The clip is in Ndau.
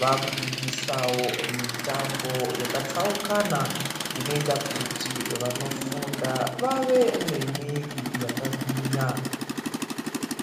Vaakudzidzisawo mitambo yakatsaukana, inoita kuti vanofunda vave nemwiiri yakagwinya.